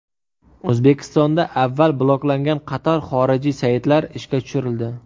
O‘zbekistonda avval bloklangan qator xorijiy saytlar ishga tushirildi.